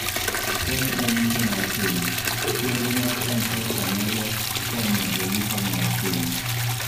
Kony e Yuto mar Piny: Chenro mag M-Pesa nyalo konyo e yuto mar piny.